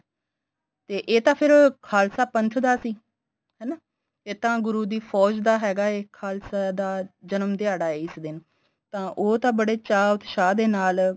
ਤੇ ਇਹ ਤਾਂ ਫੇਰ ਖਾਲਸਾ ਪੰਥ ਦਾ ਸੀ ਹਨਾ ਇਹ ਤਾਂ ਗੁਰੂ ਦੀ ਫ਼ੋਜ ਦਾ ਹੈਗਾ ਏ ਖਾਲਸਾ ਦਾ ਜਨਮ ਦਿਆੜਾ ਏ ਇਸ ਦਿਨ ਤਾਂ ਉਹ ਤਾਂ ਬੜੇ ਚਾ ਉਤਸ਼ਾ ਦੇ ਨਾਲ